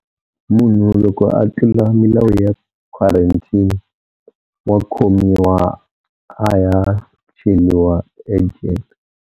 Munhu loko a tlula milawu ya quarantine wa khomiwa a ya cheliwa ejele.